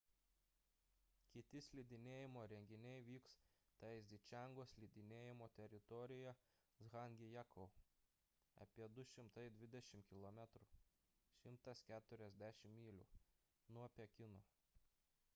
kiti slidinėjimo renginiai vyks taizičengo slidinėjimo teritorijoje zhangjiakou apie 220 km 140 mylių nuo pekino